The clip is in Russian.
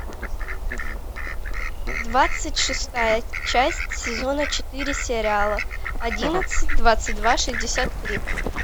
двадцать шестая часть сезона четыре сериала одиннадцать двадцать два шестьдесят три